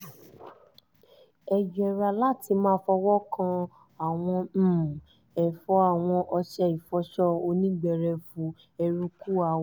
ẹ yẹra láti máa fọwọ́ kan àwọn um ẹ̀fọ́ awọn ọṣẹ ìfọṣọ onígbẹrẹfu eruku awọ